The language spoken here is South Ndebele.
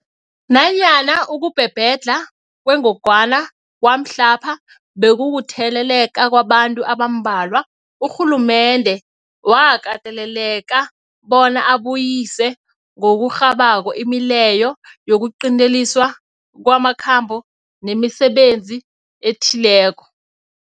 Nanyana ukubhebhedlha kwengogwana kwamhlapha bekukutheleleka kwabantu abambalwa, urhulumende wakateleleka bona abuyise ngokurhabako imileyo yokuqinteliswa kwamakhambo nemisebenzi ethileko.